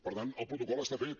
per tant el protocol està fet